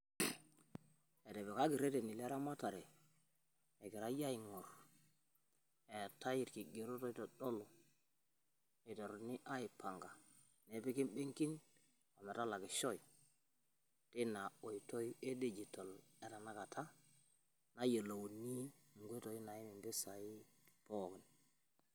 etipikaki rereni leramatare egirai aingorr etaii ilkigerot oitodolu eiteruni aipanga epiki imbenkin metalakishoi tinaoitoi edigital etanakata nayiolouni eneim mpisai pookin